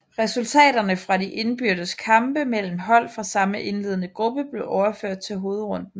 Resultaterne fra de indbyrdes kampe mellem hold fra samme indledende gruppe blev overført til hovedrunden